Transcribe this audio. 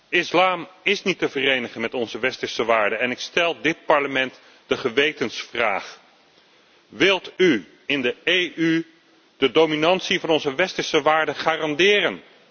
De islam is niet te verenigen met onze westerse waarden en ik stel dit Parlement de gewetensvraag wilt u in de EU de dominantie van onze westerse waarden garanderen?